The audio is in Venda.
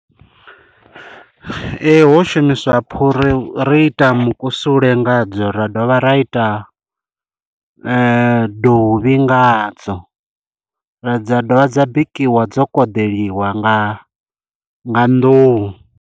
Ee, ho shumiswa phuri ri ita mukusule nga dzo, ra dovha ra ita dovhi nga ha dzo. Dza dovha dza bikiwa dzo koḓeliwa nga nga nḓuhu.